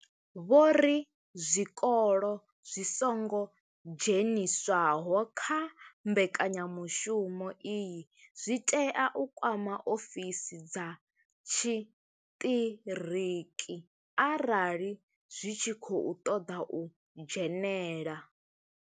Vho ri zwikolo zwi songo dzheniswaho kha mbekanyamushumo iyi zwi tea u kwama ofisi dza tshiṱiriki arali zwi tshi khou ṱoḓa u dzhenela.